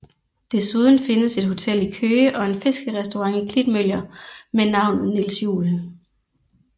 Desuden findes et hotel i Køge og en fiskerestaurant i Klitmøller med navnet Niels Juel